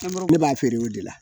ne b'a feere o de la